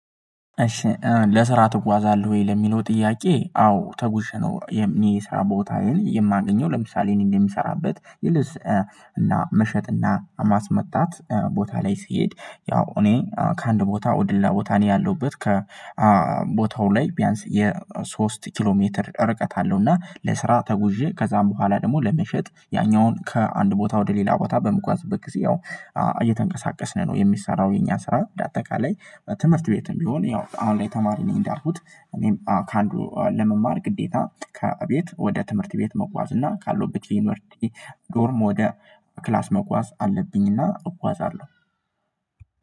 "እሺ ለስራ ትጓዛለህ ወይ?" ለሚለው ጥያቄ፤ አዎ ተጉዥ ነው የሚ ስራ ቦታዬን የማገኘው። ለምሳሌ እኔ እንደምሰራበት የልብስ እና መሸጥ እና ማስመጣት ቦታ ላይ ስሄድ ያው እኔ ከአንድ ቦታ ወድላ ቦታ እኔ ያለሁበት ከ ቦታው ላይ ቢያንስ የሶስት ኪሎ ሜትር ርቀት አለው፤ እና ለስራ ተጉዤ ከዛም በኋላ ደግሞ ለመሸጥ ያኛውን ከአንድ ቦታ ወደ ሌላ ቦታ በምጓዝበት ጊዜ ያው እየተንቀሳቀስን ነው የሚሰራው የኛ ስራ። በአጠቃላይ ትምህርት ቤትም ቢሆን ያው አሁን ላይ ተማሪ ነኝ እንዳልኩት እኔም ከአንዱ ለመማር ግዴታ ከቤት ወደ ትምህርት ቤት መጓዝ እና ካለውበት ቲመርቲ ዶርም ወደ ክላስ መጓዝ አለብኝ፤ እና እጓዛለሁ።